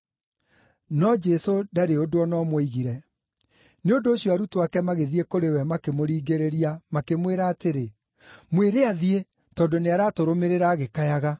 No Jesũ ndarĩ ũndũ o na ũmwe oigire. Nĩ ũndũ ũcio arutwo ake magĩthiĩ kũrĩ we makĩmũringĩrĩria, makĩmwĩra atĩrĩ, “Mwĩre athiĩ, tondũ nĩaratũrũmĩrĩra agĩkayaga.”